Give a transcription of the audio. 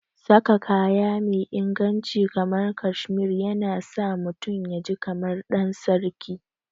Saka kaya me inganci kamar cashmere yana sa mutum yaji kamar ɗansarki.